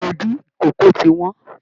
Ilédì ikòkò tí wọ́n.